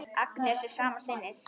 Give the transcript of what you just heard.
Agnes er sama sinnis.